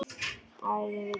Æ, þið vitið.